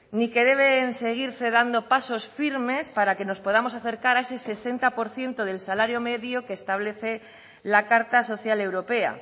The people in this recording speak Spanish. ni que deben seguirse dando pasos firmes para que nos podamos acercar a ese sesenta por ciento del salario medio que establece la carta social europea